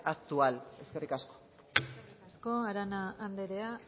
actual eskerrik asko eskerrik asko arana andrea